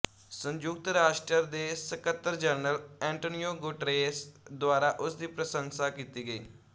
ਸੰਯੁਕਤ ਰਾਸ਼ਟਰ ਦੇ ਸੱਕਤਰਜਨਰਲ ਐਂਟੋਨੀਓ ਗੁਟੇਰੇਸ ਦੁਆਰਾ ਉਸ ਦੀ ਪ੍ਰਸ਼ੰਸਾ ਕੀਤੀ ਗਈ